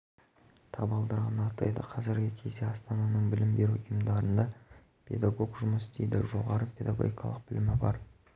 табалдырығын аттайды қазіргі кезде астананың білім беру ұйымдарында педагог жұмыс істейді жоғары педагогикалық білімі бар